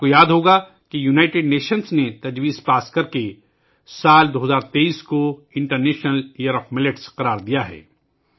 آپ کو یاد ہوگا کہ اقوام متحدہ نے ایک قرار داد منظور کرکے سال 2023 ء کو جوار باجرے کا بین الاقوامی سال قرار دیا ہے